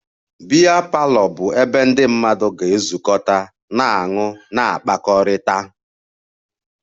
A biya parlour bụ ebe ndị mmadụ ga-ezukọta na-aṅụ na-akpakọrịta